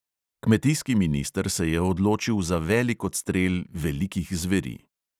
Kmetijski minister se je odločil za velik odstrel velikih zveri.